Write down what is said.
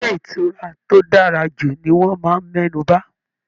Ilé ìtura tó dára jù ní wọn máa mẹnuba.